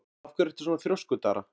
Af hverju ertu svona þrjóskur, Dara?